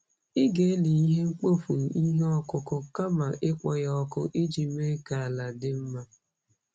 Ị ga-eli ihe mkpofu ihe ọkụkụ kama ịkpọ ya ọkụ iji mee ka ala dị mma.